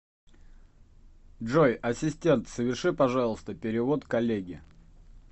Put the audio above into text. джой ассистент соверши пожалуйста перевод коллеге